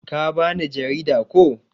Ka ba ni jarida, ko?